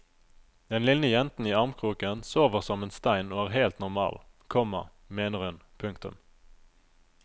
Den lille jenten i armkroken sover som en stein og er helt normal, komma mener hun. punktum